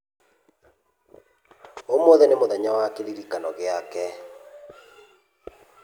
Ũmũthĩ nĩ mũthenya wa kĩririkano gĩake.